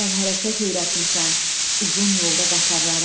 sən hərəkət öyrətmisən uzun yolda qatarlara.